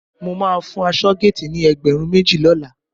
Mo máa fún aṣọ́géètì ni ẹgbẹ̀rún méjì lọ́la